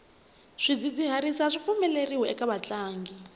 swidzidziharisi aswi pfumeleriwi eka vatlangi